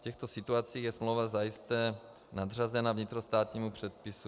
V těchto situacích je smlouva zajisté nadřazena vnitrostátnímu předpisu.